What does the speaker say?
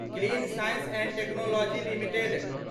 clean science and technology limited